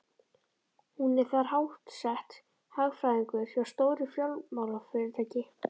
Hún er þar háttsett, hagfræðingur hjá stóru fjármálafyrirtæki.